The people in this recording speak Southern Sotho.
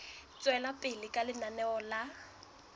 tswela pele ka lenaneo la